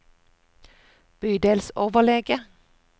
bydelsoverlege